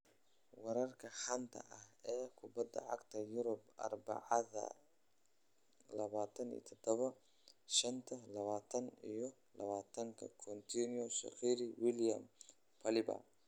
Wararka xanta ah ee kubada cagta Yurub Arbacada 27.05.2020: Coutinho, Shaqiri, Willian, Palhinha